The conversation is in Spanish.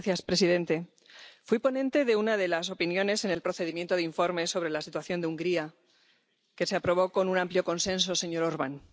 Señor presidente, fui ponente de una de las opiniones en el procedimiento de informes sobre la situación de Hungría que se aprobó con un amplio consenso, señor Orbán.